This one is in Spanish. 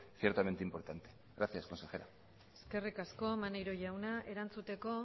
ciertamente importante gracias consejera eskerrik asko maneiro jauna erantzuteko